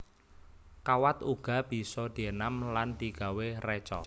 Kawat uga bisa dienam lan digawé reca